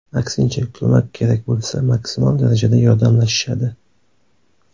Aksincha, ko‘mak kerak bo‘lsa, maksimal darajada yordamlashishadi.